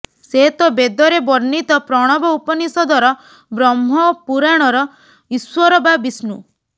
ସେ ତ ବେଦରେ ବର୍ଣ୍ଣିତ ପ୍ରଣବ ଉପନିଷ଼ଦର ବ୍ରହ୍ମ ପୁରାଣର ଈଶ୍ୱର ବା ବିଷ୍ଣୁ